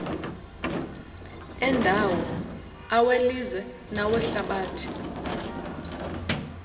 endawo awelizwe nawehlabathi